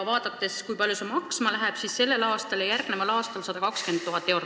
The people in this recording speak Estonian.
Vaatame, kui palju see maksma läheb: sellel ja järgmisel aastal 120 000 eurot.